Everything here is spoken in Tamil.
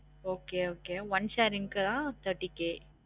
Okay okay one sharing க்கு தான் thirty K